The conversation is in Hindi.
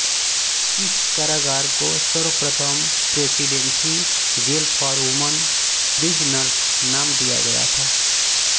इस कारागार को सर्वप्रथम presidency jail for woman prisoners नाम दिया गया था